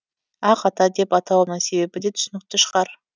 ақ ата деп атауымның себебі де түсінікті шығар